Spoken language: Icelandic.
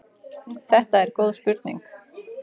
Þetta er góð spurning.